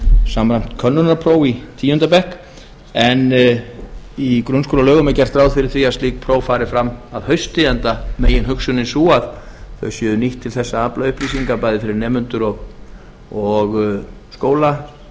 samræmt könnunarpróf í tíunda bekk en í grunnskólalögum er gert ráð fyrir því að slík próf fari fram að hausti enda meginhugsunin sú að þau séu nýtt til þess að afla upplýsinga bæði fyrir nemendur og skóla